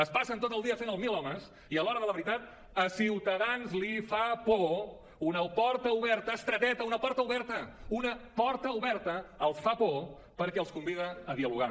es passen tot el dia fent el milhomes i a l’hora de la veritat a ciutadans li fa por una porta oberta estreteta una porta oberta una porta oberta els fa por perquè els convida a dialogar